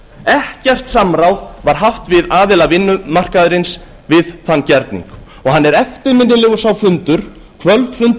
ekkert samráð var haft við aðila vinnumarkaðarins við þann gerning hann er eftirminnilegur sá fundur kvöldfundur í